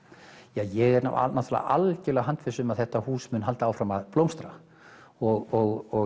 ég er algjörlega handviss um að þetta hús muni halda áfram að blómstra og